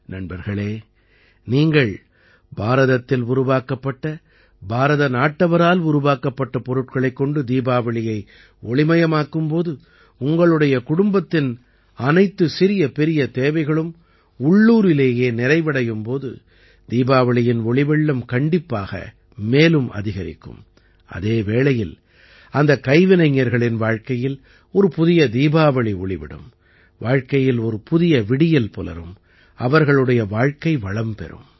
நண்பர்களே நீங்கள் பாரதத்தில் உருவாக்கப்பட்ட பாரத நாட்டவரால் உருவாக்கப்பட்ட பொருட்களைக் கொண்டு தீபாவளியை ஒளிமயமாக்கும் போது உங்களுடைய குடும்பத்தின் அனைத்துச் சிறியபெரிய தேவைகளும் உள்ளூரிலேயே நிறைவடையும் போது தீபாவளியின் ஒளிவெள்ளம் கண்டிப்பாக மேலும் அதிகரிக்கும் அதே வேளையில் அந்தக் கைவினைஞர்களின் வாழ்க்கையில் ஒரு புதிய தீபாவளி ஒளிவிடும் வாழ்க்கையில் ஒரு புது விடியல் புலரும் அவர்களுடைய வாழ்க்கை வளம் பெறும்